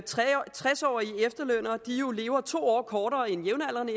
tres årige efterlønnere jo lever to år kortere end jævnaldrende